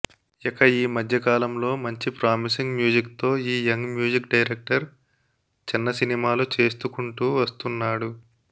ఇక ఈ మధ్యకాలంలో మంచి ప్రామిసింగ్ మ్యూజిక్ తో ఈ యంగ్ మ్యూజిక్ డైరెక్టర్ చిన్న సినిమాలు చేస్తుకుంటూ వస్తున్నాడు